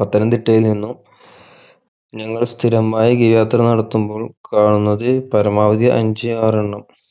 പത്തനംതിട്ടയിൽ നിന്നും ഞങ്ങൾ സ്ഥിരമായി ghavi യാത്ര നടത്തുമ്പോഴും കാണുന്നത് പരമാവധി അഞ്ച്‌ ആർ എണ്ണം